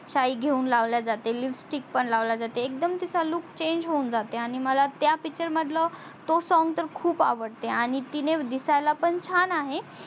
साई घेऊन लावल्या जाते lipstick पण लावल्या जाते एकदम तिचा look change हून जाते आणि मला त्या picture तो song तर खूप आवडते आणि तिने दिसायला पण छान आहे